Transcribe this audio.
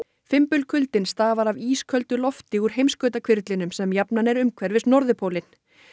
fimbulkuldinn stafar af ísköldu lofti úr sem jafnan er umhverfis norðurpólinn